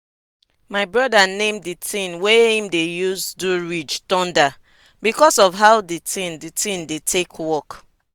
my broda name di tin wey em dey use do ridge "thunder" because of how di tin di tin dey take work.